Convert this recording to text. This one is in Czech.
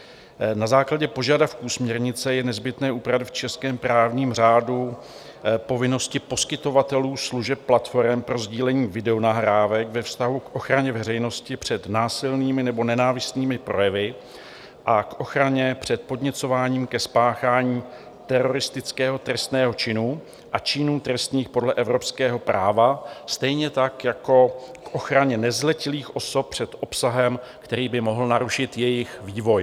Na základě požadavků směrnice je nezbytné upravit v českém právním řádu povinnosti poskytovatelů služeb platforem pro sdílení videonahrávek ve vztahu k ochraně veřejnosti před násilnými nebo nenávistnými projevy a k ochraně před podněcováním ke spáchání teroristického trestného činu a činů trestných podle evropského práva, stejně tak jako k ochraně nezletilých osob před obsahem, který by mohl narušit jejich vývoj.